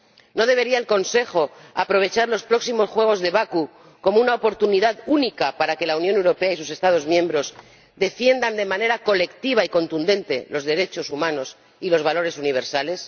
¿No debería el Consejo aprovechar los próximos Juegos de Bakú como una oportunidad única para que la Unión Europea y sus Estados miembros defiendan de manera colectiva y contundente los derechos humanos y los valores universales?